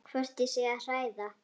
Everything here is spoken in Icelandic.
Hvort ég sé að hræða.